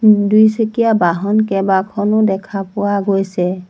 দুইচকীয়া বাহন কেবাখনো দেখা পোৱা গৈছে।